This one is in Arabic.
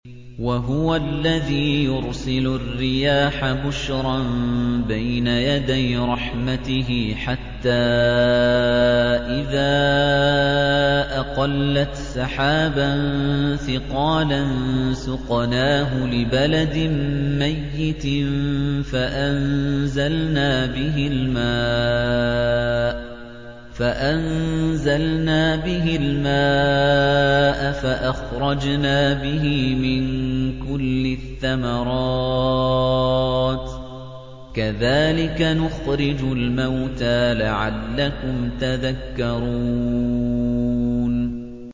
وَهُوَ الَّذِي يُرْسِلُ الرِّيَاحَ بُشْرًا بَيْنَ يَدَيْ رَحْمَتِهِ ۖ حَتَّىٰ إِذَا أَقَلَّتْ سَحَابًا ثِقَالًا سُقْنَاهُ لِبَلَدٍ مَّيِّتٍ فَأَنزَلْنَا بِهِ الْمَاءَ فَأَخْرَجْنَا بِهِ مِن كُلِّ الثَّمَرَاتِ ۚ كَذَٰلِكَ نُخْرِجُ الْمَوْتَىٰ لَعَلَّكُمْ تَذَكَّرُونَ